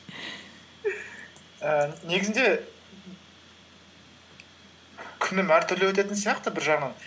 ііі негізінде күнім әртүрлі өтетін сияқты бір жағынан